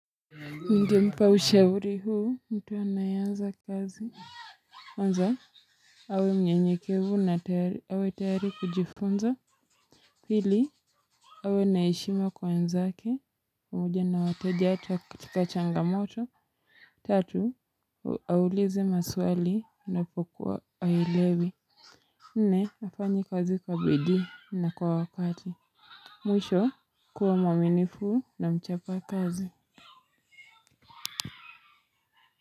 Nita mpa ushauri huu mtu anayeanza kazi kwanza awe mnyenyekevu na awe tayari kujifunza pili awe naishima kwa wenzake pamoja na wateja hata katika changamoto. Tatu auulize maswali na pokuwa aelewi. Nne hafanyi kazi kwa bidii na kwa wakati kuwa mwaninifu na mchapa kazi.